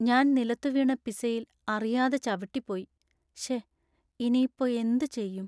ഞാൻ നിലത്തുവീണ പിസയിൽ അറിയാതെ ചവിട്ടിപ്പോയി; ശേ, ഇനിയിപ്പോ എന്ത് ചെയ്യും?